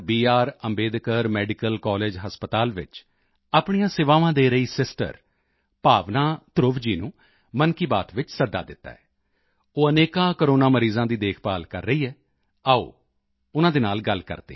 Ambedkar medical college ਹਸਪਤਾਲ ਵਿੱਚ ਆਪਣੀਆਂ ਸੇਵਾਵਾਂ ਦੇ ਰਹੀ ਸਿਸਟਰ ਭਾਵਨਾ ਧਰੁਵ ਜੀ ਨੂੰ ਮਨ ਕੀ ਬਾਤ ਵਿੱਚ ਸੱਦਾ ਦਿੱਤਾ ਹੈ ਉਹ ਅਨੇਕਾਂ ਕੋਰੋਨਾ ਮਰੀਜ਼ਾਂ ਦੀ ਦੇਖਭਾਲ ਕਰ ਰਹੀ ਹੈ ਆਓ ਉਨ੍ਹਾਂ ਨਾਲ ਵੀ ਗੱਲ ਕਰਦੇ ਹਾਂ